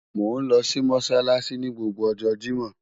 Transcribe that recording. Mo nlo si Mossalassi ni gbogbo ọjọ Jimọ